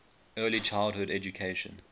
early childhood education